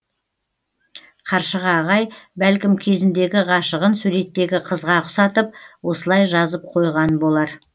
қаршыға ағай бәлкім кезіндегі ғашығын суреттегі қызға ұқсатып осылай жазып қойған болар